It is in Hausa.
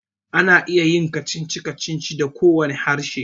Ana iya yin kacici-kacici da kowane harshe